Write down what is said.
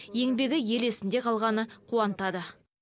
еңбегі ел есінде қалғаны қуантады